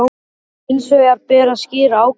Hins vegar ber að skýra ákvæðin í